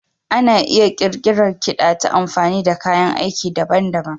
Ana iya ƙirƙirar kiɗa ta amfani da kayan aiki daban-daban.